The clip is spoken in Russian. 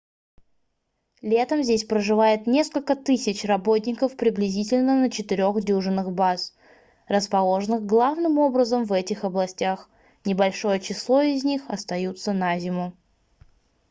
летом здесь проживает несколько тысяч работников приблизительно на четырех дюжинах баз расположенных главным образом в этих областях небольшое число из них остаются на зиму